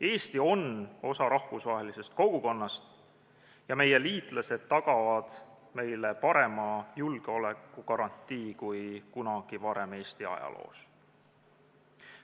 Eesti on osa rahvusvahelisest kogukonnast ja meie liitlased tagavad meile parema julgeolekugarantii kui kunagi varem Eesti ajaloos.